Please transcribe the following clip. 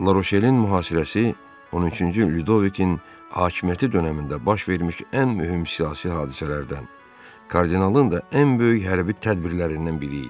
Laroşelin mühasirəsi 13-cü Lyudovikin hakimiyyəti dönəmində baş vermiş ən mühüm siyasi hadisələrdən, kardinalın da ən böyük hərbi tədbirlərindən biri idi.